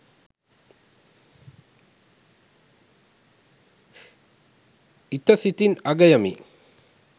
ඉත සිතින් අගයමි